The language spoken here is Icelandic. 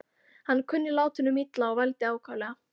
Hann kunni látunum illa og vældi ákaflega.